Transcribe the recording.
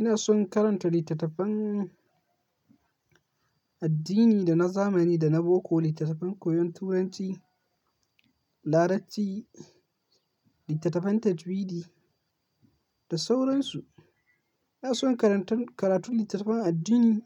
Ina son karanta littattafan addini da na zamani da na boko, littattafan koyon turanci, larabci, littattafan tajwidi da sauransu. Ina son karatun littattafan addini